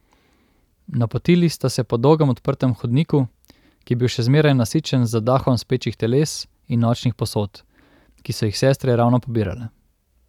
Napotili sta se po dolgem odprtem hodniku, ki je bil še zmeraj nasičen z zadahom spečih teles in nočnih posod, ki so jih sestre ravno pobirale.